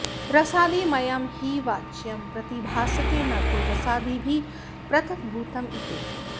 रसादिमयं हि वाच्यं प्रतिभासते न तु रसादिभिः पृथग्भूतम्॑ इति